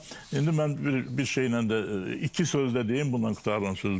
Amma indi mən bir bir şeylə də iki söz də deyim, bununla qurtarıram sözümü.